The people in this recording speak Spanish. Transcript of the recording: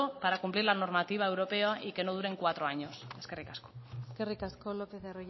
para cumplir la normativa europea y que duren cuatro años eskerrik asko eskerrik asko lópez de